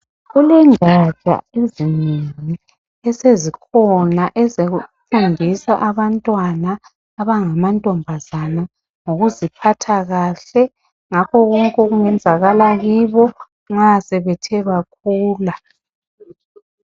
Kulengaja ezinengi esezikhona ,ezokufundisa abantwana abangamantombazana ngokuziphatha kahle .Ngakho konke okungenzakala kibo nxa sebethe bakhula .